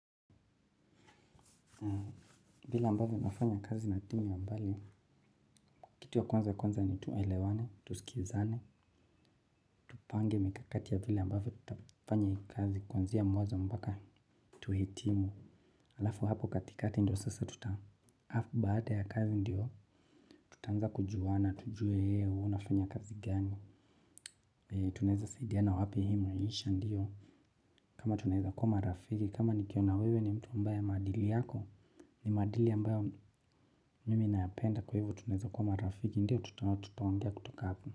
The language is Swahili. Vile ambavyo nafanya kazi na timu ya mbali, kitu ya kwanza ya kwanza ni tuelewane, tusikizane, tupange mikakati ya vile ambavyo tutafanya kazi kwanzia mwanzo mpaka tuhitimu, alafu hapo katikati ndio sasa tuta afu baada ya kazi ndiyo, tutanza kujuwana, tujue eeh, we unafanya kazi gani. Tunaeza saidiana wapi ehe nionyeshe ndiyo. Kama tuneza kua marafiki, kama nikiona wewe ni mtu mbaya madili yako ni madili ambayo mimi nayapenda kwa hivyo tunaeza kua marafiki, ndiyo tutaongea kutoka hapo.